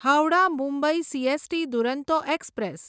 Howrah Mumbai CST Duronto express